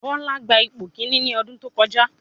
Bọ́lá gba ipò kíní ní ọdún tó kọjá.